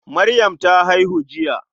Maryam ta haihu jiya.